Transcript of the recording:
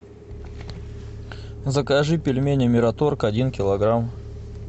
закажи пельмени мираторг один килограмм